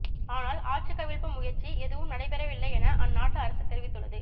ஆனால் ஆட்சிக் கவிழ்ப்பு முயற்சி எதுவும் நடைபெறவில்லை என அந்நாட்டு அரசு தெரிவித்துள்ளது